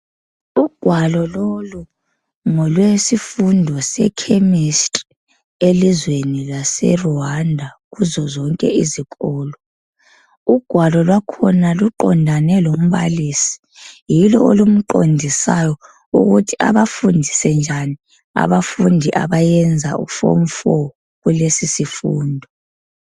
Ugwalo lolu ngolwesifundo sechemistry elizweni lwase Rwanda kuzo zonke izikolo ugwalo lwakhona luqondane lombalisi yilo elomqondisayo ukuthi abafundise njani abafundi abeyenza ufomu 4 kulesifundo.